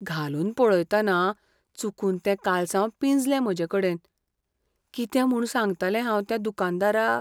घालून पळयतना चुकून तें कालसांव पिंजलें म्हजेकडेन. कितें म्हूण सांगतलें हांव त्या दुकानदाराक?